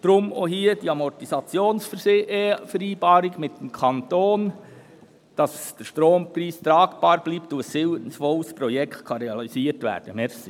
Deshalb auch hier die Amortisationsvereinbarung mit dem Kanton, damit der Strompreis tragbar bleibt und ein sinnvolles Projekt realisiert werden kann.